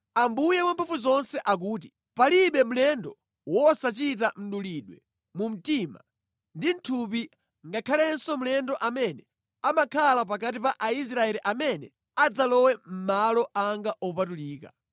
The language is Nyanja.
Ambuye Wamphamvuzonse akuti: Palibe mlendo wosachita mdulidwe mu mtima ndi mʼthupi ngakhalenso mlendo amene amakhala pakati pa Aisraeli amene adzalowe mʼmalo anga opatulika.